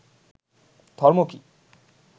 ধর্ম কী